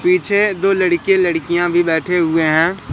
पीछे दो लड़के लड़कियां भी बैठे हुए हैं।